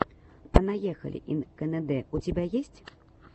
понаехали ин кэнэдэ у тебя есть